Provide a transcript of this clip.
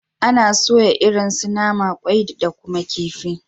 Ana soya irin su nama, kwai da kuma kifi